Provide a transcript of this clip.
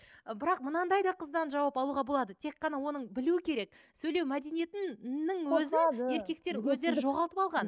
ы брақ мынандай да қыздан жауап алуға болады тек қана оны білу керек сөйлеу мәдениетінің өзін еркектер өздері жоғалтып алған